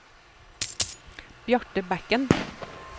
Bjarte Bekken